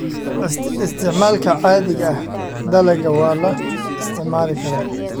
Isticmaalka Caadiga ah Dalagga waa la isticmaali karaa.